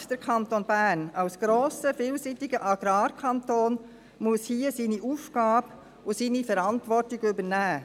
Gerade der Kanton Bern, als grosser, vielseitiger Agrarkanton, muss hier seine Aufgabe erfüllen und seine Verantwortung übernehmen.